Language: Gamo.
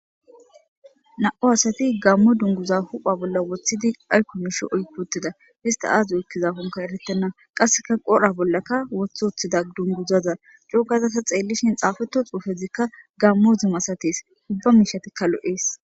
na'u asati gammo dunguza hupha bolla woththidi aykku misho oybutida hista aazu oekkiza honka erettenna qasseka qora bollaka woth othida dunguzaza cogazata xeellishin xaafeto xuufezikka gammo zuma asates ubba mishatikka lo7ees